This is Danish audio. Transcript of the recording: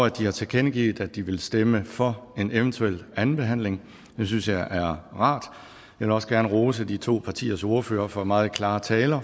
at de har tilkendegivet at de vil stemme for en eventuel anden behandling det synes jeg er rart jeg vil også gerne rose de to partiers ordførere for meget klare taler og